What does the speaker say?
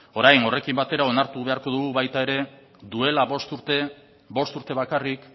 orain horrekin batera onartu beharko dugu baita ere duela bost urte bost urte bakarrik